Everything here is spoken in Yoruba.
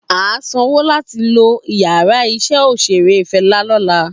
A sanwo lati lo iyàrá iṣẹ́ òṣérẹ́ Fẹla lọla.